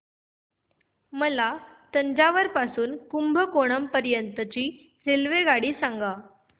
मला तंजावुर पासून तर कुंभकोणम पर्यंत ची रेल्वेगाडी सांगा